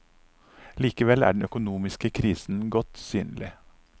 Likevel er den økonomiske krisen godt synlig.